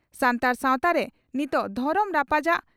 ᱥᱟᱱᱛᱟᱲ ᱥᱟᱣᱛᱟᱨᱮ ᱱᱤᱛᱚᱜ ᱫᱷᱚᱨᱚᱢ ᱨᱟᱯᱟᱪᱟᱜ